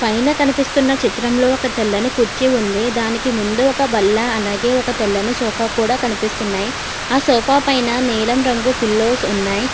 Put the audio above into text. పైనా కనిపిస్తున్న చిత్రంలో ఒక తెల్లని కుర్చి ఉంది దానికి ముందు ఒక బల్ల అలాగే ఒక తెల్లని సోఫా కూడా కనిపిస్తున్నాయి ఆ సోఫా పైన నీలం రంగు పిల్లోస్ ఉన్నాయి.